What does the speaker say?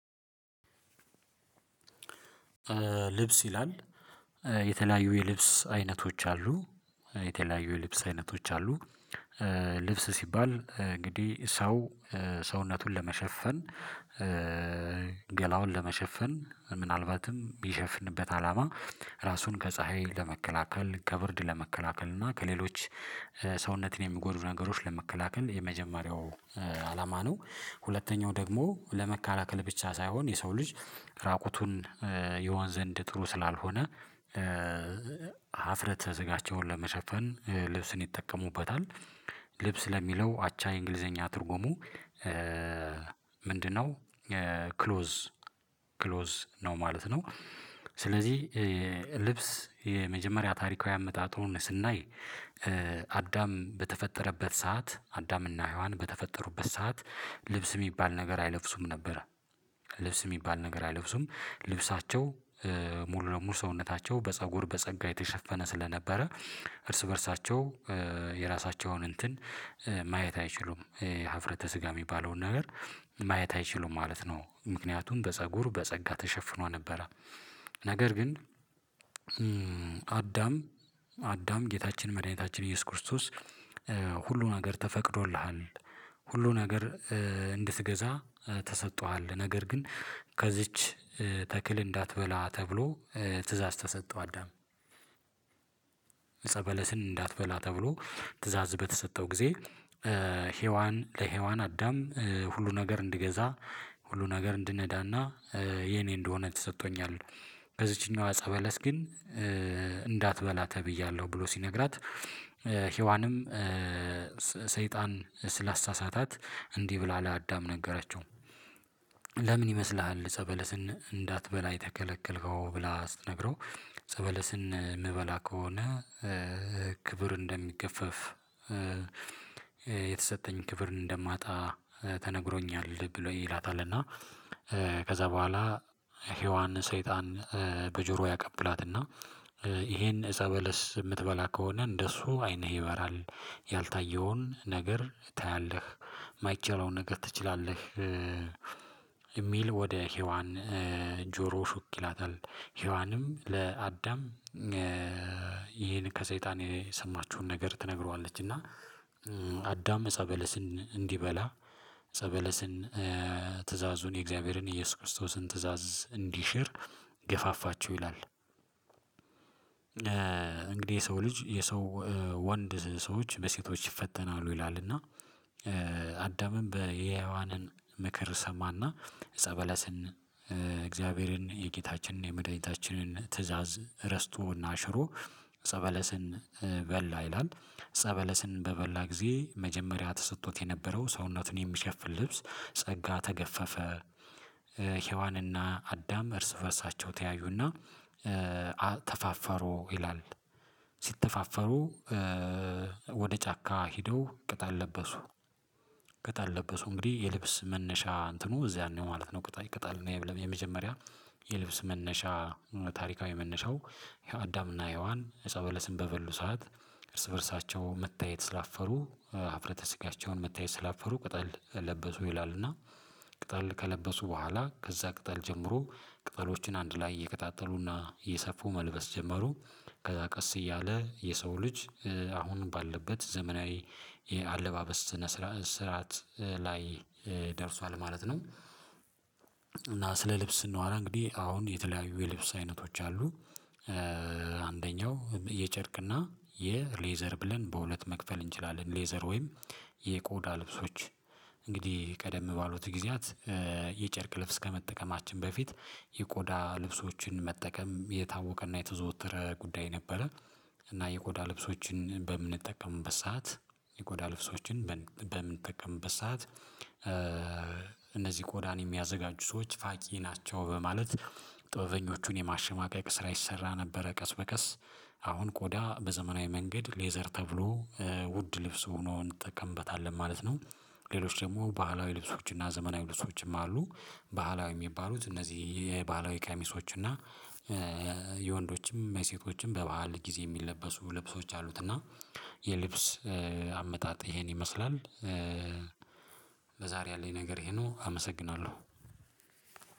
ልብስ ይላል የተለያዩ የልብስ አይነቶች አሉ የተለያዩ የልብስ አይነቶች አሉ። ልብስ ሲባል እንግዲህ ሰው ሰውነቱን ለመሸፈን ገላውን ለመሸፈን ምናልባትም የሚሸፍንበት አላማ ራሱን ከፀሀይ ለመከላከል ከብርድ ለመከላከል እና ከሌሎች ሰውነትን የሚጎዱ ነገሮች ለመከላከል የመጀመሪያው አላማ ነው ሁለተኛው ደግሞ ለመከላከል ብቻ ሳይሆን የሰው ልጅ ራቁቱን ይሆን ዘንድ ጥሩ ስላልሆነ ሀፍረተ ዘጋቸውን ለመሸፈን ልብስን ይጠቀሙበታል ልብስ ለሚለው አቻ የእንግሊዘኛ ትርጉሙ ምንድነው? ክሎዝ ክሎዝ ነው ማለት ነው። ስለዚህ ልብስ የመጀመሪያ ታሪካዊ አመጣጦን ስናይ አዳም በተፈጠረበት ሰዓት አዳምና ሄዋን በተፈጠሩበት ሰዓት ልብስ የሚባል ነገር አይለብሱም ነበረ ልብስ የሚባል ነገር አይለብሱም ልብሳቸው ሙሉ ለሙሉ ሰውነታቸው በፀጉር በጸጋ የተሸፈነ ስለነበረ እርስ በእርሳቸው የራሳቸውን እንትን ማየት አይችሉም የሀፍረተ ስጋ የሚባለውን ነገር ማየት አይችሉም ማለት ነው ምክንያቱም በፀጉር በጸጋ ተሸፍኗ ነበረ። ነገር ግን አዳም አዳም ጌታችን መድኃኒታችን ኢየሱስ ክርስቶስ ሁሉም ነገር ተፈቅዶልሃል ሁሉ ነገር እንድትገዛ ተሰጥቶሃል ነገር ግን ከዚች ተክል እንዳትበላ ተብሎ ትእዛዝ ተሰጠው አዳም ጸበለስን እንዳትበላ ተብሎ ትእዛዝ በተሰጠው ጊዜ ሄዋን ለሄዋን አዳም ሁሉ ነገር እንድገዛ ሁሉ ነገር እንድነዳና የኔ እንደሆነ ተሰጥቶኛል ከዚችኛው አፀባለስ ግን እንዳትበላ ተብያለሁ ብሎ ሲነግራት ሄዋንም ሰይጣን ስላሳሳታት እንዲህ ብላ ለአዳም ነገራቸው። ለምን ይመስልሃል ጸበለ ስን እንዳትበላ የተከለከለው ብላ አስነግረው ጸበለስን የምበላ ከሆነ። ክብር እንደሚገፈፍ የተሰጠኝ ክብር እንደማጣ ተነግሮኛል ብሎ ይላታል። እና ከዛ በኋላ ሄዋን ሰይጣን በጆሮ ያቀብላት ይሄን እፀበለስ የምትበላ ከሆነ እንደሱ አይንህ ይበራል ያልታየውን ነገር ታያለህ የማይችለውን ነገር ትችላለህ። የሚል ወደ ሄዋን ጆሮ ሹክ ይላታል ሄዋንም ለአዳም ይሄን ከሰይጣን የሰማችሁን ነገር ትነግረዋለች እና አዳም ጸበለስን እንዲበላ ጸበለስን ትዕዛዙን የእግዚአብሔርን ኢየሱስ ክርስቶስን ትእዛዝ እንዲሽር ገፋፋቸው ይላል። እንግዲህ የሰው ልጅ የሰው ወንድ ሰዎች በሴቶች ይፈተናሉ ይላልና እና አዳምን በሄዋንን ምክር ሰማና ጸበለስን እግዚአብሔርን የጌታችንን የመድኃኒታችንን ትእዛዝ ረስቶና ሽሮ ጸበለስን በል ይላል ጸበለስን በበላ ጊዜ መጀመሪያ ተሰጥቶት የነበረው ሰውነቱን የሚሸፍል ልብስ ጸጋ ተገፈፈ። ሄዋንና አዳም እርስ በእርሳቸው ተያዩና ይላል ሲተፋፈሩ ወደ ጫካ ሄደው ቅጠል ለበሱ። ቅጠል ለበሱ እንግዲህ የልብስ መነሻ እንትኑ እዚያን ነው ማለት ነው። ቅጣን ይቅጣልና የመጀመሪያ የልብስ መነሻ ታሪካዊ መነሻው አዳምና ሄዋን እፀበለስን በበሉ ሰዓት እርስ በእርሳቸው መታየት ስላፈሩ ሀፍረተ ስጋቸውን መታየት ስላፈሩ ቅጠል ለበሱ ይላልና። ቅጠል ከለበሱ በኋላ ከዛ ቅጠል ጀምሮ ቅጠሎችን አንድ ላይ እየከታተሉና እየሰፉ መልበስ ጀመሩ። ከዛ ቀስ እያለ የሰው ልጅ አሁን ባለበት ዘመናዊ የአለባበስነ ስነ ስራዓት ላይ ደርሷል ማለት ነው። እና ስለ ልብስ ስንዋራ እንግዲህ አሁን የተለያዩ የልብስ አይነቶች አሉ። አንደኛው የጨርቅና የሌዘር ብለን በሁለት መክፈል እንችላለን ሌዘር ወይም የቆዳ ልብሶች። እንግዲህ ቀደም ባሉት ጊዜያት የጨርቅ ልብስ ከመጠቀማችን በፊት የቆዳ ልብሶችን መጠቀም የታወቀና የተዘወተረ ጉዳይ ነበረ። እና የቆዳ ልብሶችን በምንጠቀምበት ሰዓት የቆዳ ልብሶችን በምንጠቀምበት ሰዓት እነዚህ ቆዳን የሚያዘጋጁ ሰዎች ፋቂ ናቸው በማለት ጥበበኞችን የማሸማቀቅ ስራ ይሰራ ነበረ። ቀስ በቀስ አሁን ቆዳ በዘመናዊ መንገድ ሌዘር ተብሎ ውድ ልብስ ሆኖ እንጠቀምበታለን ማለት ነው። ሌሎች ደግሞ ባህላዊ ልብሶች እና ዘመናዊ ልብሶችም አሉ። ባህላዊ ሚባሉት እነዚህ የባህላዊ ካሚሶች እና የወንዶችም ሴቶችም በበዓል ጊዜ የሚለበሱ ልብሶች አሉት እና የልብስ አመጣጥ ይሄን ይመስላል። በዛሬ ያለኝ ነገር ሄኖ አመሰግናለሁ።